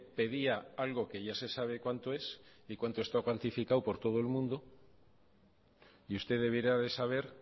pedía algo que ya se sabe cuánto es y cuánto está cuantificado por todo el mundo y usted debiera de saber